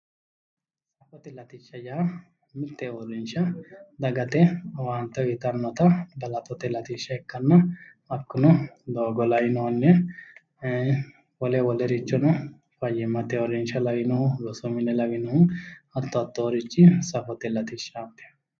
Safote latishsha yaa mitte uurrinsha dagate owaante uuyitannota latote latishsha ikkanna hakkuno doogo lainohunni, wole wolerichono fayyimate uurrinsha lawinohu, rosu mine lawinohu, hatto hattoorichi safote latishshaati.